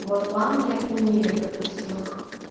вот в англии отменили допустим их